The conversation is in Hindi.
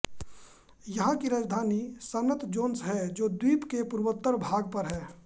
यहाँ की राजधानी सन्त जोन्स है जो द्वीप के पूर्वोत्तर भाग पर है